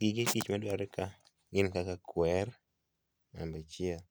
Gige tich madwarore ka gin kaka kwer, namba achiel,